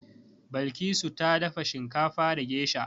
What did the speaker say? Balkisu ta dafa shinkafa da gesha.